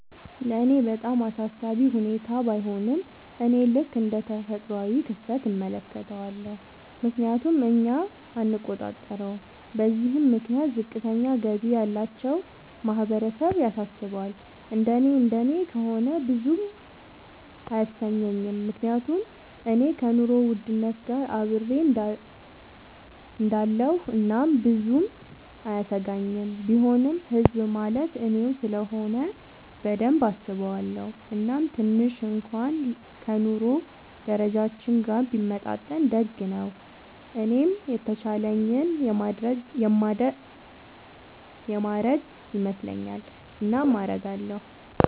ለኔ በጣም አሳሳቢ ሁኔታ ባይሆንም፤ እኔ ልክ እንደ ተፈጥሯዊ ክስተት እመለከተዋለሁ፤ ምክንያቱም እኛ አንቆጣጠረውም። በዚህም ምክንያት ዝቅተኛ ገቢ ያላቸው ማህበረሰብ ያሳስባል፤ እንደኔ እንደኔ ከሆነ ብዙም አያሰኘኝም፤ ምክንያቱም እኔ ከኑሮ ውድነት ጋር አብሬ እሆዳለኹ እናም ብዙም አያሰጋኝም፤ ቢሆንም ህዝብ ማለት እኔው ስለሆነ በደንብ አስበዋለው፤ እናም ትንሽ እንኩዋን ከ ኑሮ ደረጃችን ጋር ቢመጣጠን ደግ ነው። እኔም የተቻለኝን የማረግ ይመስለኛል። እናም አረጋለው።